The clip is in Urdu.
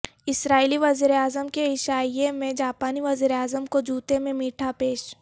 اسرائیلی وزیراعظم کے عشائیے میں جاپانی وزیراعظم کو جوتے میں میٹھا پیش